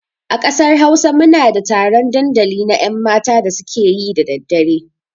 A ƙasar Hausa muna da taron ɗandali na 'yanmata da su ke yi da daddare.